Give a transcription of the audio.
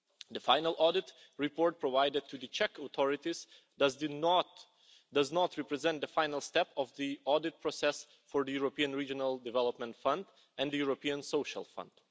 The final audit report provided to the Czech authorities does not represent the final step of the audit process for the European Regional Development Fund and the European Social Fund.